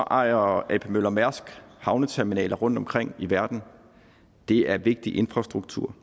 ejer ap møller mærsk as havneterminaler rundtomkring i verden det er vigtig infrastruktur